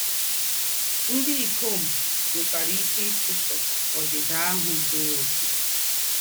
Ndí́ íkòm nwẹ́kwara íké ịchúsọ̀ “ǒdị́dị̀ áhụ́ zúrù ọ̀kè.”